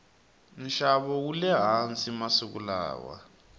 nxavo wule hansi masiku lawa